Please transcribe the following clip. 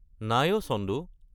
নাই অ’ চন্দু।